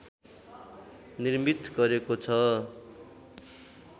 निर्मित गरेको छ